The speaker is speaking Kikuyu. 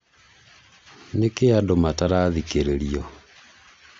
nĩkĩĩ andũ matarathikĩrĩrio?